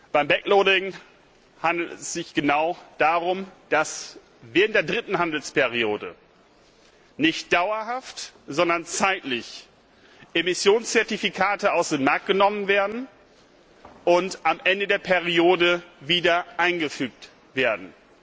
Beim handelt es sich darum, dass während der dritten Handelsperiode nicht dauerhaft, sondern zeitlich begrenzt Emissionszertifikate aus dem Markt genommen werden und am Ende der Periode wieder eingefügt werden.